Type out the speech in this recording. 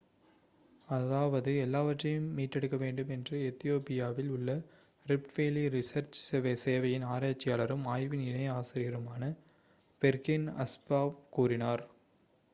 அதாவது எல்லாவற்றையும் மீட்டெடுக்கவேண்டும் என்று எத்தியோப்பியாவில் உள்ள ரிஃப்ட் வேலி ரிசர்ச் சேவையின் ஆராய்ச்சியாளரும் ஆய்வின் இணை ஆசிரியருமான பெர்ஹேன் அஸ்பாவ் கூறினார்